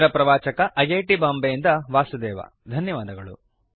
ಇದರ ಪ್ರವಾಚಕ I I T Bombay ಯಿಂದ ವಾಸುದೇವ ಧನ್ಯವಾದಗಳು